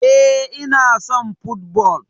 Eh, Ina son football